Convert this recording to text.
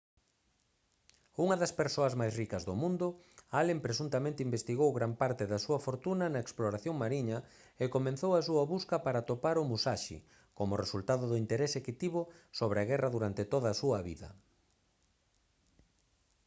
unha das persoas máis ricas do mundo allen presuntamente investiu gran parte da súa fortuna na exploración mariña e comezou a súa busca para atopar o musashi como resultado do interese que tivo sobre a guerra durante toda a súa vida